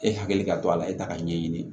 E hakili ka to a la e t'a ka ɲɛɲini